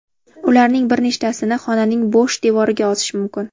Ularning bir nechtasini xonaning bo‘sh devoriga osish mumkin.